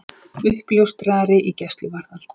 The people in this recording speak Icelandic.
Uppljóstrari í gæsluvarðhald